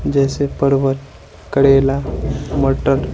जैसे पर्वत करेला मटर--